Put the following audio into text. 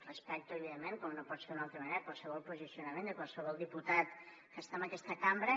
respecto evidentment com no pot ser d’una altra manera qualsevol posicionament de qualsevol diputat que està en aquesta cambra